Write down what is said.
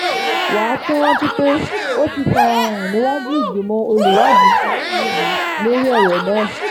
wà á tún rántí pé ó ti fara hàn níwájú ìgbìmọ̀ olùwádìí iléèwé yìí lórí ọ̀rọ̀ náà